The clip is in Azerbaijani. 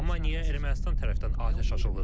Amma niyə Ermənistan tərəfdən atəş açılır?